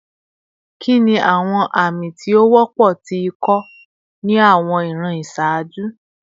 Kini awọn ami ti o wọpọ ti iko ni awọn iran iṣaaju?